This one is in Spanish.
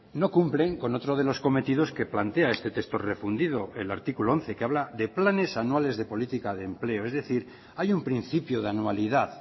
no cumplen con otro de los cometidos que plantea este texto refundido el artículo once que habla de planes anuales de política de empleo es decir hay un principio de anualidad